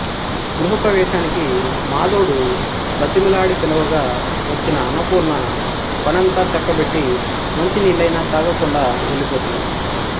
గృహప్రవేశానికి మాధవుడు బతిమిలాడి పిలవగా వచ్చిన అన్నపూర్ణ పనంతా చక్కబెట్టి మంచినీళ్ళైనా తాగకుండా వెళ్ళిపోతుంది